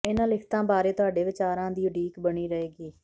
ਇਹਨਾਂ ਲਿਖਤਾਂ ਬਾਰੇ ਤੁਹਾਡੇ ਵਿਚਾਰਾਂ ਦੀ ਉਡੀਕ ਬਣੀ ਰਹੇਗੀ